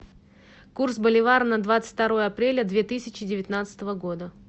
курс боливара на двадцать второе апреля две тысячи девятнадцатого года